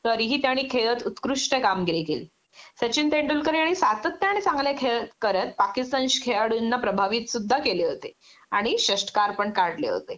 तरीही त्याने खेळात उत्कृष्ट कामगिरी केली.सचिन तेंडुलकर याने सातत्याने चांगले खेळ करत पाकिस्तानश खेळाडूंना प्रभावित सुद्धा केले होते आणि षष्ट्कार पण काढले होते